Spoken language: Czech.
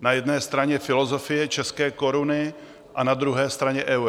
na jedné straně filozofie české koruny a na druhé straně euro?